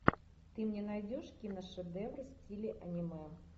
ты мне найдешь киношедевр в стиле аниме